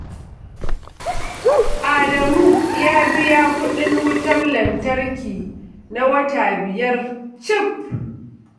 Adamu ya biya kuɗin wutar lantarki na wata biyar cif